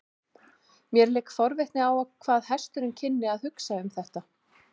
Mér lék forvitni á hvað hesturinn kynni að hugsa um þetta.